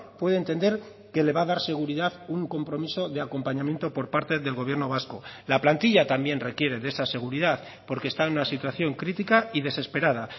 puede entender que le va a dar seguridad un compromiso de acompañamiento por parte del gobierno vasco la plantilla también requiere de esa seguridad porque está en una situación crítica y desesperada